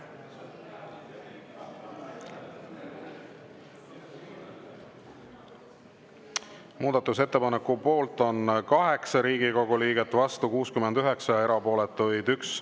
Muudatusettepaneku poolt on 8 Riigikogu liiget, vastu 69, erapooletuid 1.